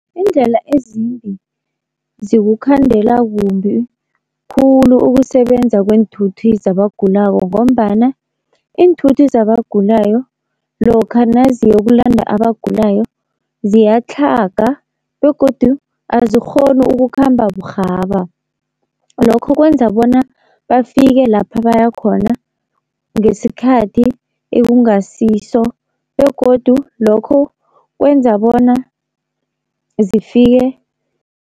Iindlela ezimbi zikukhandela kumbi khulu ukusebenza kweenthuthi zabagulako, ngombana iinthuthi zabagulayo lokha naziyokulanda abagulayo ziyatlhaga begodu azikghoni ukukhamba burhaba, lokho kwenza bona bafike lapha bayakhona ngesikhathi ekungasiso, begodu lokho kwenza bona zifike